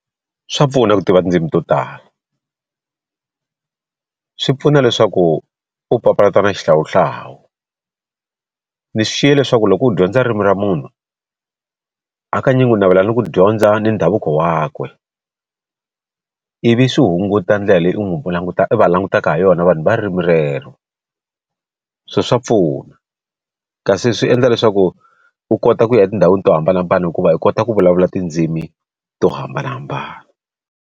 Swa pfuna ku tiva tindzimi to tala, swi pfuna leswaku u papalata na xihlawuhlawu ni xiye leswaku loko u dyondza ririmi ra munhu hakanyingi u navela ni ku dyondza ni ndhavuko wakwe ivi swi hunguta ndlela leyi u n'wi u va langutaka ha yona vanhu va ririmi rero swo swa pfuna kasi swi endla leswaku u kota ku ya etindhawini to hambanahambana hikuva u kota ku vulavula tindzimi to hambanahambana.